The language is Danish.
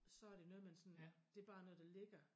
Så det noget man sådan det bare noget der ligger